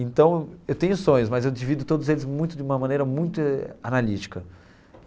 Então, eu tenho sonhos, mas eu divido todos eles muito de uma maneira muito analítica.